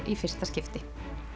í fyrsta skipti